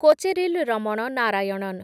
Kocheril Raman Narayanan